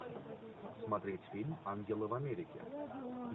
смотреть фильм ангелы в америке